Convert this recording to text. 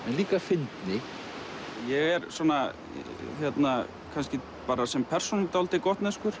líka fyndni ég er kannski sem persóna dálítið